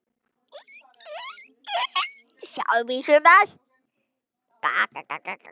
og Sjáðu mig sumar!